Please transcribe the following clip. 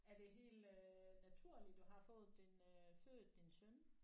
Er det helt øh naturligt du har fået din øh født din søn?